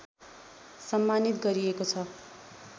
सम्मानित गरिएको छ